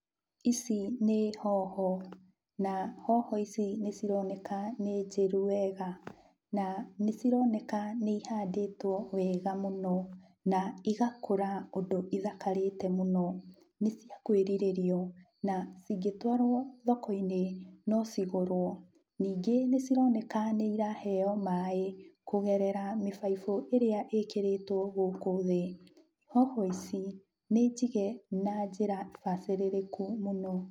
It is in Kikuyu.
ici nĩ hoho na hoho ici nĩcironeka nĩ njĩru wega, na nĩcironeka nĩihandĩtwo wega mũno, na igakũra ũndũ ithakarĩte mũno, nĩcia kwĩriririo, na ingĩtwarwo thokoinĩ, no cigũrwo. Ningĩ nĩcironeka nĩiraheo maĩ, kũgerera mũbaibũ ĩrĩa ĩkĩrĩtwo gũkũ thĩ, hoho ici nĩnjige na njĩra mbacirĩrĩku mũno.